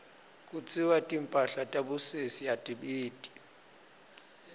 kutsiwa timphahla tabosesi atibiti